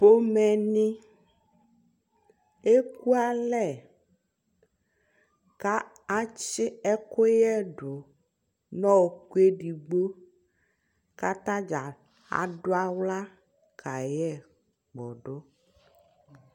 pɔmɛ ni ɛkʋalɛ kʋ atsi ɛkʋyɛdʋ nʋ ɔkʋ ɛdigbɔ kʋ atagya aduala kayɛ kpɔdʋ